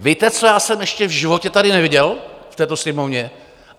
Víte, co já jsem ještě v životě tady neviděl v této Sněmovně?